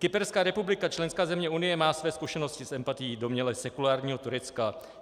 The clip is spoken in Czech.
Kyperská republika, členská země Unie, má své zkušenosti s empatií domněle sekulárního Turecka.